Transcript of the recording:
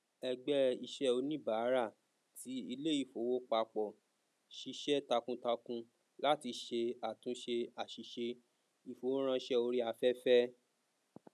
ẹgbẹ iṣẹ oníbàárà ti iléìfowópapọ ṣiṣẹ takuntakun láti ṣe àtúnṣe àsìse ìfowóránsé ori afefe